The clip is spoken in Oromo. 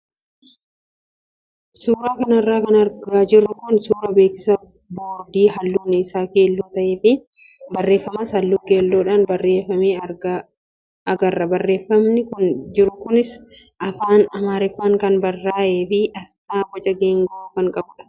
Suuraa kanarra kan argaa jirru kun suuraa beeksisa boordii halluun isaa keelloo ta'ee fi barreeffamas halluu keelloodhaan barreeffame agarra. Barreeffamni jiru kunis afaan amaariffaan kan barraayee fi asxaa boca geengoo kan qabudha.